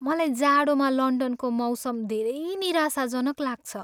मलाई जाडोमा लन्डनको मौसम धेरै निराशाजनक लाग्छ।